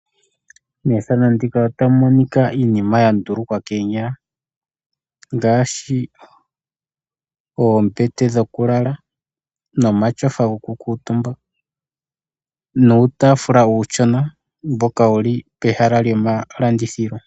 Methano ndika otamumonika iinima yandulukwa koonyala ngaashi oombete dhokulala ,omatyofa gokukuutumba nuutafula uushona mboka wuli pehala lyomalandithilo.